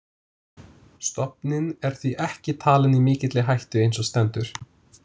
Stofninn er því ekki talinn í mikilli hættu eins og stendur.